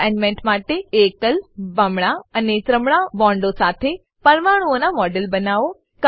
assignment માટે એકલ બમણા અને ત્રમણા બોન્ડો સાથે પરમાણુંઓનાં મોડેલો બનાવો